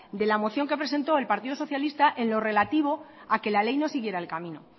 de la moción que ha presentado el partido socialista en lo relativo a que la ley no siguiera el camino